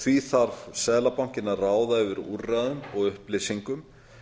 því þarf seðlabankinn að ráða yfir úrræðum og upplýsingum